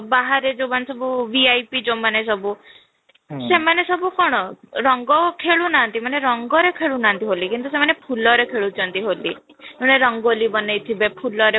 ବାହାରେ ଯୋଉ ମାନେ ସବୁ VIP ଯୋଉ ମାନେ ସବୁ ସେମାନେ ସବୁ କ'ଣ ରଙ୍ଗ ଖେଳୁନାହାନ୍ତି ମାନେ ରଙ୍ଗ ରେ ଖେଳୁ ନାହାନ୍ତି ହୋଲି କିନ୍ତୁ ସେମାନେ ଫୁଲରେ ଖେଳୁଛନ୍ତି ହୋଲି ମାନେ ରଙ୍ଗୋଲୀ ବନେଇଥିବେ ଫୁଲରେ